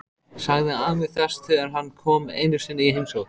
sagði afi þess þegar hann kom einu sinni í heimsókn.